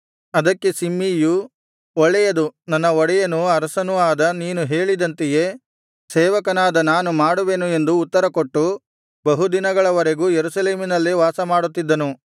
ಅದಕ್ಕೆ ಶಿಮ್ಮೀಯು ಒಳ್ಳೇಯದು ನನ್ನ ಒಡೆಯನು ಅರಸನೂ ಆದ ನೀನು ಹೇಳಿದಂತೆಯೇ ಸೇವಕನಾದ ನಾನು ಮಾಡುವೆನು ಎಂದು ಉತ್ತರಕೊಟ್ಟು ಬಹುದಿನಗಳ ವರೆಗೂ ಯೆರೂಸಲೇಮಿನಲ್ಲೇ ವಾಸಮಾಡುತ್ತಿದ್ದನು